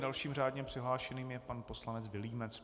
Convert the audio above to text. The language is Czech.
Dalším řádně přihlášeným je pan poslanec Vilímec.